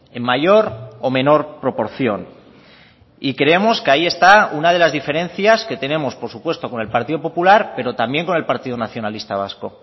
en mayor o menor proporción y creemos que ahí está una de las diferencias que tenemos por supuesto con el partido popular pero también con el partido nacionalista vasco